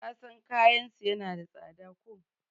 kasan kayansu yana da tsada ko?